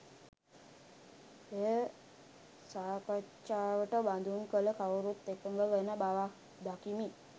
එය සාකච්ඡාවට බඳුන් කල කවුරුත් එකඟ වන බවක් දකිමි